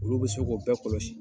Olu bɛ se k'o bɛɛ kɔlɔsi.